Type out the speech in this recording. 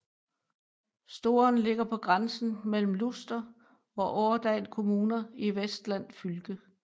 Storen ligger på grænsen mellem Luster og Årdal kommuner i Vestland fylke